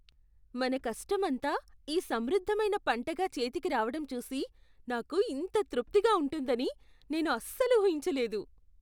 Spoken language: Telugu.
మన కష్టమంతా ఈ సమృద్ధమైన పంటగా చేతికి రావటం చూసి నాకు ఇంత తృప్తిగా ఉంటుందని నేను అస్సలు ఊహించలేదు.